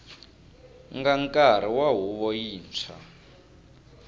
nga nkarhi wa huvo yintshwa